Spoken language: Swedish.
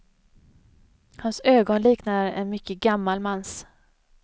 Hans ögon liknar en mycket gammal mans.